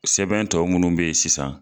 Sɛbɛn tɔ munnu bɛ ye sisan